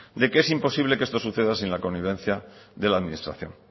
de que es imposible que esto suceda sin la connivencia de la administración